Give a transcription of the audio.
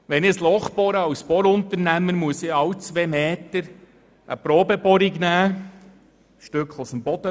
Wenn ich als Bohrunternehmer ein Loch bohre, muss ich alle zwei Meter eine Probebohrung machen und ein Stück Boden entnehmen.